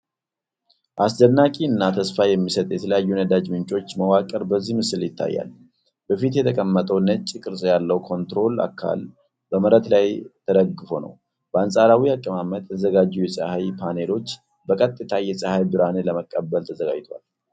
አስደናቂ እና ተስፋ የሚሰጥ የተለያዩ ነዳጅ ምንጮች መዋቅር በዚህ ምስል ይታያል። በፊት የተቀመጠው ነጭ ቅርፅ ያለው ኮንትሮል አካል በመሬት ላይ ተደግፎ ነው። በአንጻራዊ አቀማመጥ የተዘጋጀው የፀሐይ ፓነሎች በቀጥታ የፀሐይ ብርሃንን ለመቀበል ተዘጋጅተዋል።